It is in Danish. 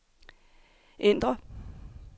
ændr